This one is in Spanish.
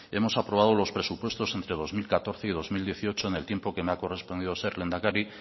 hemos aprobado los presupuestos entre dos mil catorce y dos mil dieciocho en el tiempo que me ha correspondido ser lehendakari